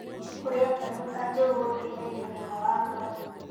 Kũrĩa mbegũ ta njũgũ gũteĩthagĩa ũgima wa ngoro